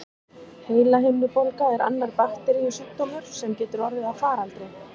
Heilahimnubólga er annar bakteríusjúkdómur, sem getur orðið að faraldri.